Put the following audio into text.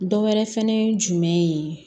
Dɔ wɛrɛ fɛnɛ ye jumɛn ye